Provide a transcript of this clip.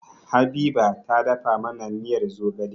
Habiba ta dafa mana miyar zogale